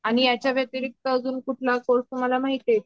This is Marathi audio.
आणि याच्या व्यतिरिक्त अजून कुठला कोर्से तुम्हाला माहिती आहे का